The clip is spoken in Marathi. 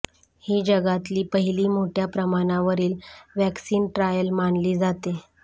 ही जगातली पहिली मोठ्या प्रमाणावरील व्हॅक्सीन ट्रायल मानली जाते